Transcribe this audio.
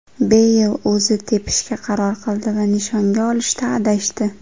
Beyl o‘zi tepishga qaror qildi va nishonga olishda adashdi.